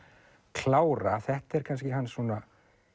klára þetta er kannski hans svona